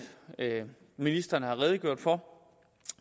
ministeren har redegjort for